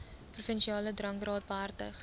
provinsiale drankraad behartig